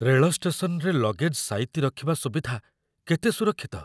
ରେଳ ଷ୍ଟେସନରେ ଲଗେଜ୍‌ ସାଇତି ରଖିବା ସୁବିଧା କେତେ ସୁରକ୍ଷିତ?